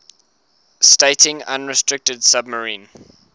stating unrestricted submarine